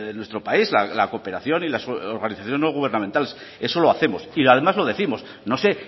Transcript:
nuestro país la cooperación y las organizaciones no gubernamentales eso lo hacemos y además lo décimos no sé